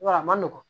Wa a ma nɔgɔn